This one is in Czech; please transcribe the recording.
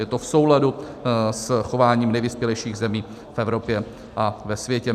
Je to v souladu s chováním nejvyspělejších zemí v Evropě a ve světě.